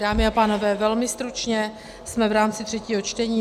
Dámy a pánové, velmi stručně, jsme v rámci třetího čtení.